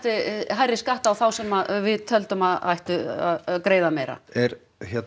hærri skatta á þá sem við töldum að ættu að greiða meira er hérna